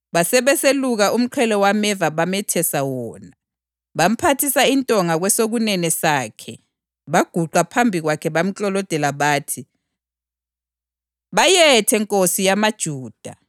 basebeseluka umqhele wameva bamethesa wona. Bamphathisa intonga kwesokunene sakhe baguqa phambi kwakhe bamklolodela. Bathi, “Bayethe, Nkosi yamaJuda!”